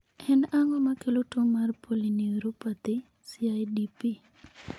En ang'o makelo tuwo mar polyneuropathy (CIDP)?